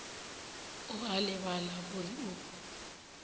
o a lebala gore o